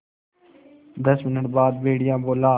दस मिनट बाद भेड़िया बोला